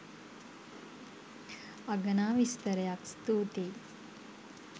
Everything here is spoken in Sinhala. අගනා විස්තරයක්. ස්තූතියි.